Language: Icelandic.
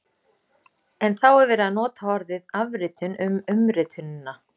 En þá er verið að nota orðið afritun um umritunina!